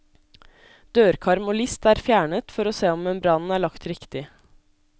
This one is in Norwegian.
Dørkarm og list er fjernet for å se om membranen er lagt riktig.